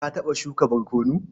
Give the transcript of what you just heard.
Ka taɓa shuka barkono?